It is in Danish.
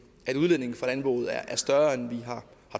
at udledningen fra landbruget er større end vi har